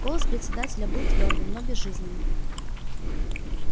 голос председателя был твёрдым но безжизненным